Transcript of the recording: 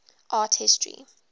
art history